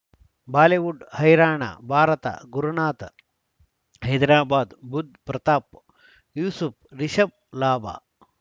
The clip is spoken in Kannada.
ಬಾಲಿವುಡ್ ಹೈರಾಣ ಭಾರತ ಗುರುನಾಥ ಹೈದರಾಬಾದ್ ಬುಧ್ ಪ್ರತಾಪ್ ಯೂಸುಫ್ ರಿಷಬ್ ಲಾಭ